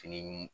Fini ɲim